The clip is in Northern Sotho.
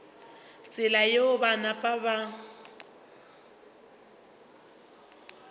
tsela yeo ba napa ba